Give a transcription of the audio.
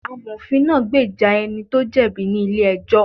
Amofin náà gbèjà ẹni tó jẹ̀bi ní ilé ẹjọ́